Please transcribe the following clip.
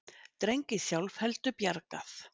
Dreng í sjálfheldu bjargað